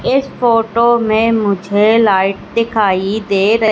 इस फोटो में मुझे लाइट दिखाई दे--